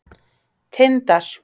Tindar